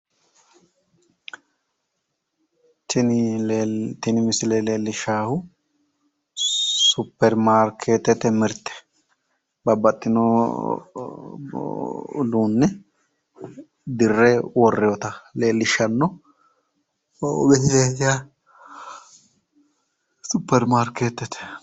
Tini misile leellishshaahu suppermaakeetete mirte babbaxxino uduunne dirre worroyeeta leellishshanno misileeti yaate suppermarkeetete.